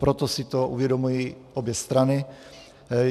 Proto si to uvědomují obě strany.